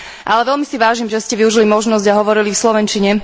Ale veľmi si vážim, že ste využili možnosť a hovorili v slovenčine.